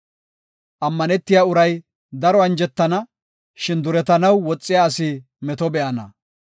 Ammanetiya uray daro anjetana; shin duretanaw woxiya asi meto be7ana.